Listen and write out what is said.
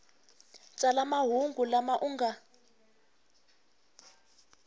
tsala mahungu lama u nga